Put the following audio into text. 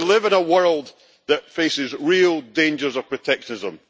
We live in a world that faces real dangers of protectionism.